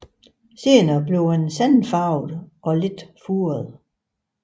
Senere bliver den sandfarvet og lidt furet